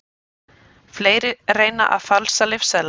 Fleiri reyna að falsa lyfseðla